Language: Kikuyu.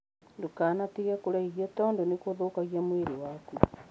Ndũkanatige kũrĩa irio tondũ nĩ gũthũkagia mwĩrĩ waku.